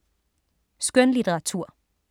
Skønlitteratur